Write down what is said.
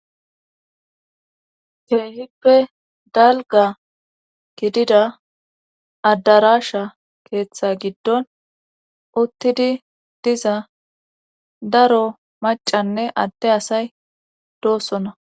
keehippe dalgga gidida addarashsha keeththa giddon uttidi diza daro macanne adde asay doossona